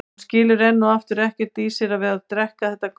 Hún skilur enn og aftur ekkert í sér að vera að drekka þetta gutl.